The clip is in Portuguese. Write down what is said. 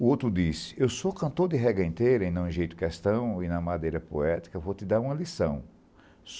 O outro disse, eu sou cantor de rega inteira e não enjeito questão, e na madeira poética vou te dar uma lição.